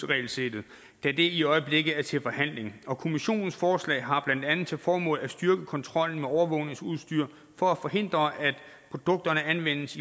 regelsættet da det i øjeblikket er til forhandling og kommissionens forslag har blandt andet til formål at styrke kontrollen med overvågningsudstyr for at forhindre at produkterne anvendes